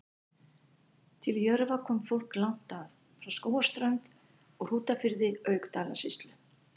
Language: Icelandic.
Til Jörfa kom fólk langt að, frá Skógarströnd og Hrútafirði auk Dalasýslu.